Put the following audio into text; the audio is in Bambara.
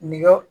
Nge